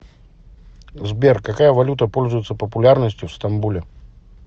сбер какая валюта пользуется популярностью в стамбуле